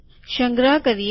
સંગ્રહ કરીએ